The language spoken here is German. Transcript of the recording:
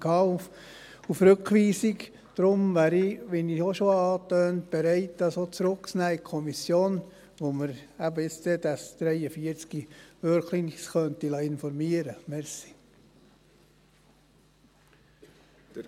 Deswegen wäre ich, wie ich auch schon angetönt habe, bereit, diesen so in die Kommission zurückzunehmen, wo wir uns wirklich über diesen Artikel 43 informieren lassen könnten.